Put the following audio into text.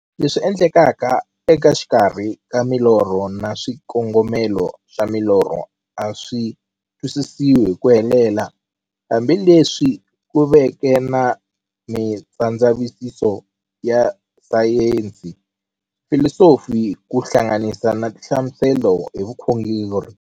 Leswi endlekaka exikarhi ka milorho na xikongomelo xa milorho a swisi twisisiwa hi ku helela, hambi leswi ku veke na mindzavisiso ya sayensi, filosofi ku hlanganisa na tinhlamuselo hi vukhongori.